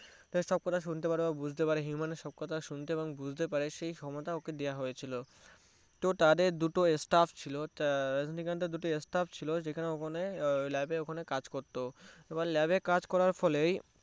তার সব কথা শুনতে পারে ও বুঝতে পারে human এর সব কথা শুনতে পারে এবং বুঝতে পারে সেই ক্ষমতা ওকে দেওয়া হয়েছিলো তো তাদের দুটো stuff ছিলো রাজনীকান্থের দুটো stuff ছিলো যেখানে ওখানে lab এ ওখানে কাজ করতো lab এ ওখানে কাজ করার ফলে